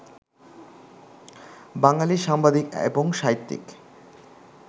বাঙালি সাংবাদিক এবং সাহিত্যিক